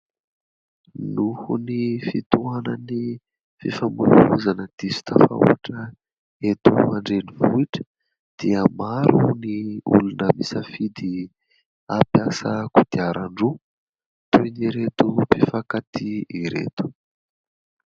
Noho ny fitoanan'ny fifamohivozana diso tafahotra eto an-drenivohitra dia maro ny olona misafidy ampiasa kodiaran-droa toy ny ireto mpifankatia ireto.